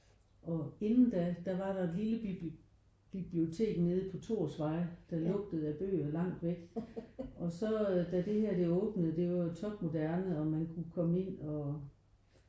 Og inden da der var der et lille bibliotek nede på Thorsvej der lugtede af bøger langt væk og så da det her det åbnede det var jo topmoderne og man kunne komme ind og